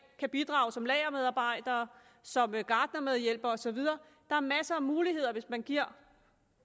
kan bidrage som lagermedarbejdere som gartnermedhjælpere og så videre er masser af muligheder hvis man giver